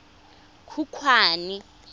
khukhwane